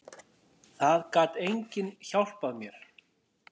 Það gat enginn hjálpað mér.